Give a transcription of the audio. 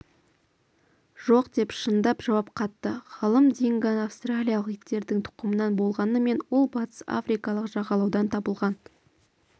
жоқ деп шындап жауап қатты ғалымдинго австралиялық иттердің тұқымынан болғанымен ол батыс африкалық жағалаудан табылған